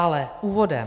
Ale úvodem.